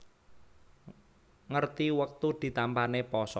Ngerti wektu ditampané pasa